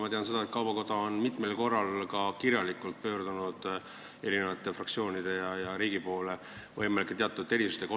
Ma tean, et kaubanduskoda on mitmel korral ka kirjalikult pöördunud fraktsioonide ja riigi poole võimalike teatud erisuste teemal.